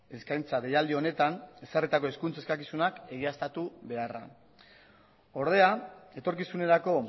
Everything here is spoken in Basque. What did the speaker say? eskaintza deialdi honetan ezarritako hizkuntza eskakizunak egiaztatu beharra ordea etorkizunerako